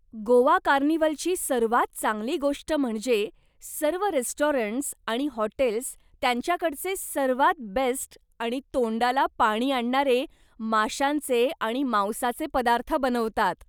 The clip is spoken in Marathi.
गोवा कार्निव्हलची सर्वात चांगली गोष्ट म्हणजे, सर्व रेस्टॉरंट्स आणि हॉटेल्स त्यांच्याकडचे सर्वात बेस्ट आणि तोंडाला पाणी आणणारे माशांचे आणि मांसाचे पदार्थ बनवतात.